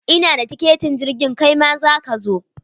Ina da tiketin irgin, kaima za ka zo?